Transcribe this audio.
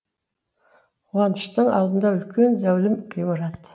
қуаныштың алдында үлкен зәулім ғимарат